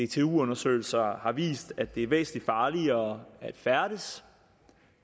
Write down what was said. dtu undersøgelser har vist at det er væsentlig farligere at færdes